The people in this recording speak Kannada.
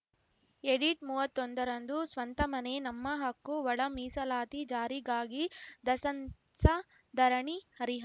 ಎಡಿಟ್‌ ಮೂವತ್ತೊಂದರಂದು ಸ್ವಂತ ಮನೆ ನಮ್ಮ ಹಕ್ಕು ಒಳ ಮೀಸಲಾತಿ ಜಾರಿಗಾಗಿ ದಸಂಸ ಧರಣಿ ಹರಿಹ